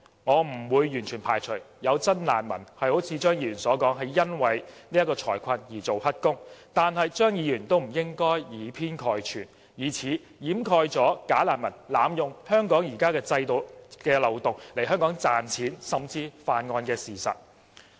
我不會完全排除有真難民如張議員所說般，因為財困才做"黑工"，但張議員亦不應以偏概全，以此掩蓋"假難民"濫用香港現行制度的漏洞來港賺錢甚至犯案的事實。